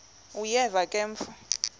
uyeva ke mfo